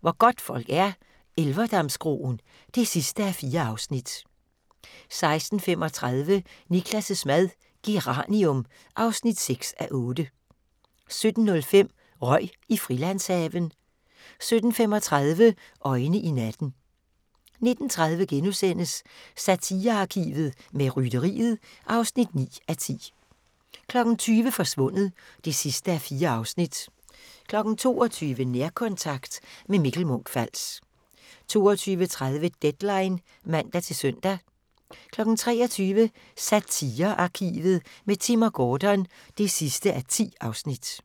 Hvor godtfolk er - Elverdamskroen (4:4) 16:35: Niklas' mad - Geranium (6:8) 17:05: Røg i Frilandshaven 17:35: Øjne i natten 19:30: Satirearkivet – med Rytteriet (9:10)* 20:00: Forsvundet (4:4) 22:00: Nærkontakt – med Mikkel Munch-Fals 22:30: Deadline (man-søn) 23:00: Satirearkivet – med Timm & Gordon (10:10)